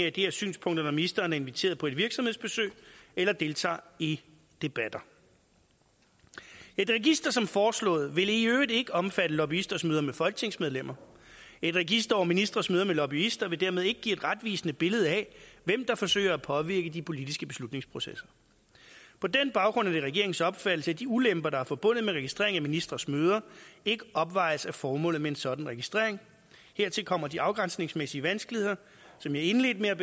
af de her synspunkter når ministeren er inviteret på et virksomhedsbesøg eller deltager i debatter et register som foreslået vil i øvrigt ikke omfatte lobbyisters møder med folketingsmedlemmer et register over ministres møder med lobbyister vil dermed ikke give et retvisende billede af hvem der forsøger at påvirke de politiske beslutningsprocesser på den baggrund er det regeringens opfattelse at de ulemper der er forbundet med registrering af ministres møder ikke opvejes af formålet med en sådan registrering hertil kommer de afgrænsningsmæssige vanskeligheder som jeg indledte med at